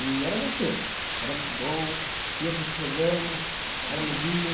E era gostoso, era muito bom, ia para os programas, era alegria.